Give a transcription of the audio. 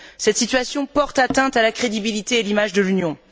Cette situation porte atteinte à la crédibilité et à l'image de l'Union.